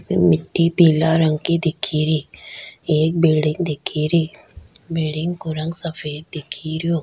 पीला रंग की दिखेरी एक बिल्डिंग दिखे री बिल्डिंग को रंग सफ़ेद दिखे रियो।